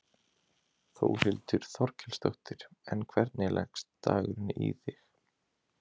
Þórhildur Þorkelsdóttir: En hvernig leggst dagurinn í þig?